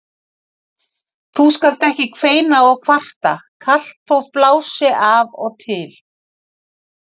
Þú skalt ekki kveina og kvarta kalt þótt blási af og til.